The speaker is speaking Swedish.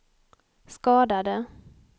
skadade